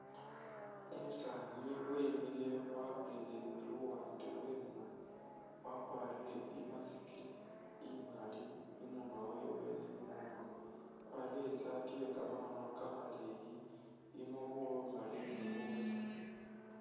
Umusani wemile walolelele luwaande lweno, wakwarile i'mask imaali imunwa wewe ni i'moolu, wakwarile isati iye kamakhono kamaleyi ilimo bumaali ni bubesemu.